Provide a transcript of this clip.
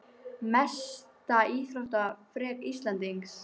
Mesta íþróttaafrek Íslendings?